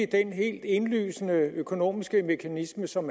den helt indlysende økonomiske mekanisme som